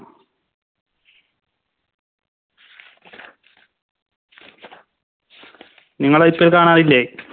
നിങ്ങള് IPL കാണാറില്ലേ